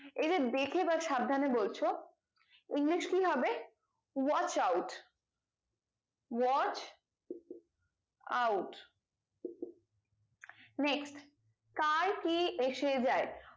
এই যে দেখে বা সাবধানে বলছো english কি হবে watch out watch out next কার কি এসে যাই